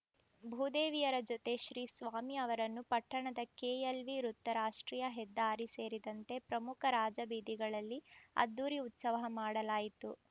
ಭೂದೇವಿಯರ ಜೊತೆ ಶ್ರೀ ಸ್ವಾಮಿ ಅವರನ್ನು ಪಟ್ಟಣದ ಕೆಎಲ್‌ವಿ ವೃತ್ತ ರಾಷ್ಟ್ರೀಯ ಹೆದ್ದಾರಿ ಸೇರಿದಂತೆ ಪ್ರಮುಖ ರಾಜಬೀದಿಗಳಲ್ಲಿ ಅದ್ಧೂರಿ ಉತ್ಸವ ಮಾಡಲಾಯಿತು